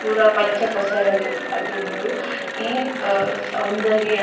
ಪೂರ ಪಚ್ಚ ಪಸರ್ ಆದುಂಡ್ ಇ ಸೌಂದರ್ಯ.